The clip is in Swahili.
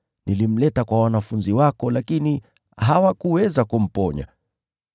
Nilimleta kwa wanafunzi wako, lakini hawakuweza kumponya.”